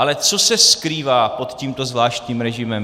Ale co se skrývá pod tímto zvláštním režimem?